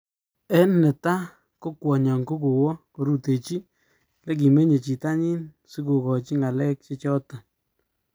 En neta ko kwonyon ko kowa korutechi nekimeyen jitanyin si kokachi ngalek che chaton.